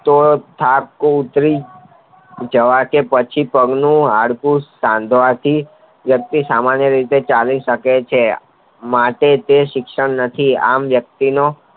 તો થાક ઉતરી જવા તે પછી પગનું હાડકું સાંધવાથી વ્યક્તિ સામાન્ય રીતે ચાલી શકે છે માટે તે શિક્ષણ નથી આમ વ્યક્તિનો